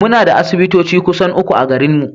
Yanzu muna da asibitoci kusan uku a garinmu.